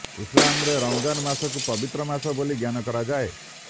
ଇସଲାମରେ ରମଜାନ ମାସକୁ ପବିତ୍ର ମାସ ବୋଲି ଜ୍ଞାନ କରାଯାଏ